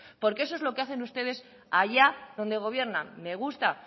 porque eso es lo que hacen ustedes allá donde gobiernan me gusta